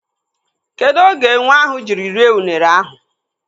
Kedụ oge enwe ahụ jiri rie unere ahụ?